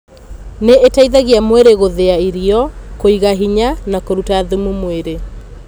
Nĩ ĩteithagia mwĩrĩ gũthĩa irio, kũiga hĩnya na kũruta thumu mwĩrĩ.